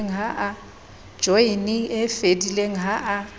joyene e fedileng ha a